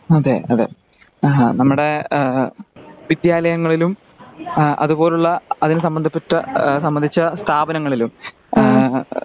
അതെ അതെ ആ നമ്മുടെ വിദ്ര്യലയങ്ങളിലും അതുപോലുള്ള സബദ്ധപ്പെട്ട സംബന്ധിച്ച സ്ഥാപനങ്ങളിലും ആ